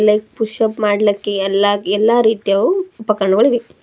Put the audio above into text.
like push up ಮಾಡಲಿಕ್ಕೆ ಎಲ್ಲಾ ಎಲ್ಲಾ ರೀತಿಯಾವ್ ಉಪಕರಣಗಳ್ --